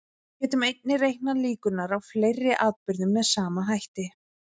Við getum einnig reiknað líkurnar á fleiri atburðum með sama hætti.